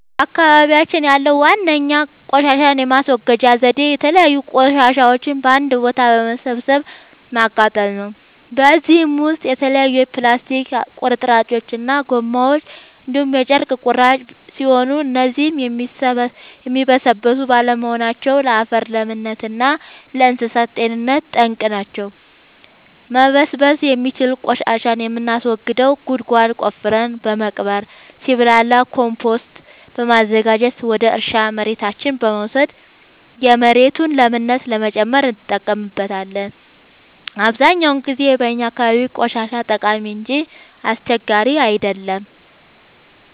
በአካባቢያችን ያለዉ ዋነኛ ቆሻሻን የማስወገጃ ዘዴ የተለያዩ ቆሻሻዎችን በአንድ ቦታ በመሰብሰብ ማቃጠል ነው። በዚህም ውስጥ የተለያዩ የፕላስቲክ ቁርጥራጮች እና ጎማዎች እንዲሁም የጨርቅ ቁራጮች ሲሆኑ እነዚህም የሚበሰብሱ ባለመሆናቸው ለአፈር ለምነት እና ለእንሳሳት ጤንነት ጠንቅ ናቸው። መበስበስ የሚችል ቆሻሻን የምናስወግደው ጉድጓድ ቆፍረን በመቅበር ሲብላላ ኮምቶስት በማዘጋጀት ወደ እርሻ መሬታችን በመውሰድ የመሬቱን ለምነት ለመጨመር እንጠቀምበታለን። አብዛኛውን ጊዜ በእኛ አካባቢ ቆሻሻ ጠቃሚ እንጂ አስቸጋሪ አይደለም።